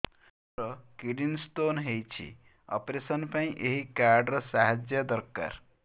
ମୋର kidney stone ହଇଛି operation ପାଇଁ ଏହି କାର୍ଡ ର ସାହାଯ୍ୟ ଦରକାର